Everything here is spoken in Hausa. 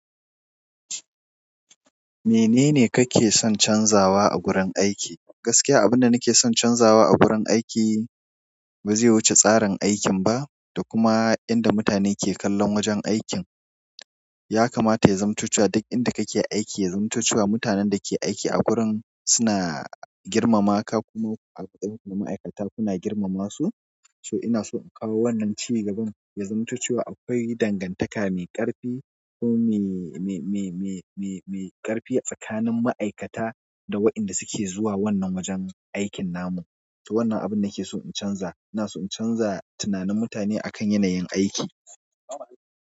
Menene ka ke son canzawa a gurin aiki? Gaskiya, abin da nake son canzawa a wurin aiki ba zai wuce tsarin aikin ba, da kuma inda mutane ke kallon wajen aikin. Ya kamata ya zamto cewa duk inda kake aiki ya zamto cewa mutanen da ke aiki a wurin suna girmama ka, kuma a kowanne ma'aikata kuna girmama su. So ina so in kawo wannan ci gaban, ya zamanto cewa akwai dangantaka mai ƙarfi ko mai, mai, mai, mai, mai, mai ƙarfi tsakanin ma'aikata da waɗanda suke zuwa wannan wajen aikin namu. To wannan abin nake so in canza. Ina so in canza tunanin mutane a kan yanayin aiki.